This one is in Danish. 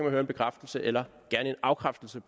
at høre en bekræftelse eller gerne en afkræftelse